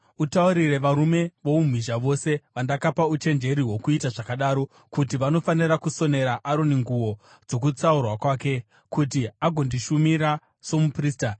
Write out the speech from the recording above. Utaurire varume voumhizha vose vandakapa uchenjeri hwokuita zvakadaro kuti vanofanira kusonera Aroni nguo, dzokutsaurwa kwake, kuti agondishumira somuprista.